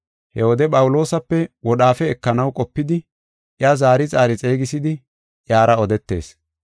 He wode Phawuloosape wodhaafe ekanaw qopidi, iya zaari zaari xeegisidi iyara odetees.